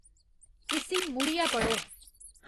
इस्सी मुड़ियै पढ़ो